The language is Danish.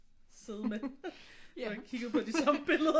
Sted man man kigger på de samme billeder